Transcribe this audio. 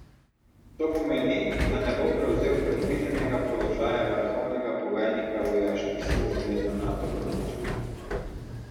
To pomeni, da ne bo prevzel predvidenega položaja vrhovnega poveljnika vojaških sil zveze Nato v Bruslju.